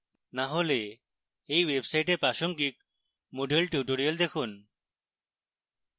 না হলে এই website প্রাসঙ্গিক moodle tutorials দেখুন